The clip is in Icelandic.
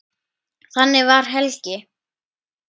Þannig var Helgi.